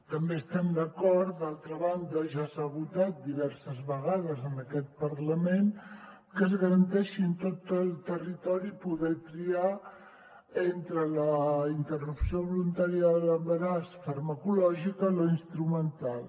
també estem d’acord d’altra banda ja s’ha votat diverses vegades en aquest parlament que es garanteixi en tot el territori poder triar entre la interrupció voluntària de l’embaràs farmacològica o la instrumental